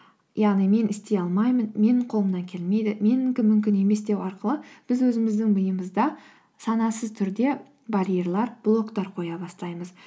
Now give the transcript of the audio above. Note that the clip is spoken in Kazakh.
яғни мен істей алмаймын менің қолымнан келмейді менікі мүмкін емес деу арқылы біз өзіміздің миымызда санасыз түрде барьерлер блоктар қоя бастаймыз